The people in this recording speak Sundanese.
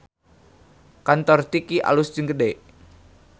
Kantor Tiki alus jeung gede